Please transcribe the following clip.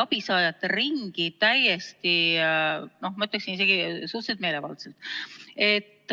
abisaajate ringi, ma ütleksin, isegi suhteliselt meelevaldselt.